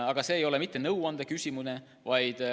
Aga see ei olnud mitte nõuande küsimine.